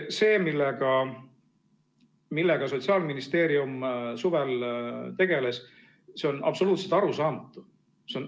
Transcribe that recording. See, millega Sotsiaalministeerium suvel tegeles, see on absoluutselt arusaamatu.